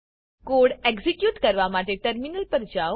code execute કરવા માટે terminal પર જાઓ